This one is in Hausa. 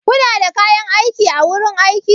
Kuna da kayan aiki a wurin aiki?